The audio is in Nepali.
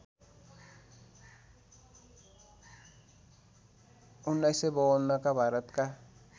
१९५२ का भारतका